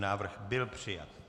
Návrh byl přijat.